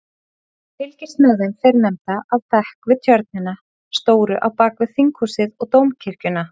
Ég fylgist með þeim fyrrnefndu af bekk við tjörnina stóru á bakvið Þinghúsið og Dómkirkjuna.